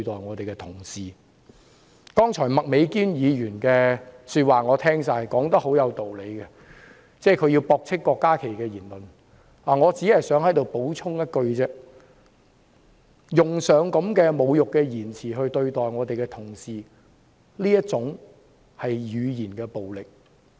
我聽到麥美娟議員剛才的發言，她說得很有道理，她駁斥了郭家麒議員的言論，我在此只想補充一句，對同事使用這些侮辱言詞，正正是語言暴力。